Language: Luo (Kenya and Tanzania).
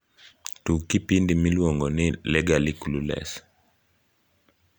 tug kipindi miluongoni legally clueless